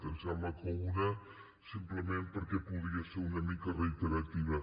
em sembla que una simplement perquè podia ser una mica reiterativa